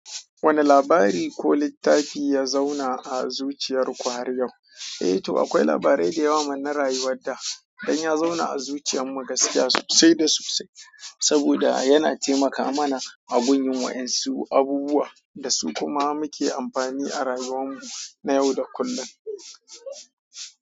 Wane labari ko littafi ya zauna a zuciyar ku har yau? Eh to akwai labarai da yawa man rayuwar da dan ya zauna a zuciyar mu gaskiya sosai da sosai. Saboda yana taimaka mana a bunyi waƴansu su abubuwan da su kuma muke amfani a rayuwan mu na yau da kullum.